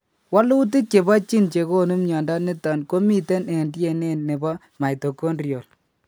Walutik chebo Gene chegonu mnyondo niton komiten en DNA nebo mitochondrial